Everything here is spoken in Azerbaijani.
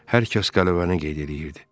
Hər kəs qələbəni qeyd eləyirdi.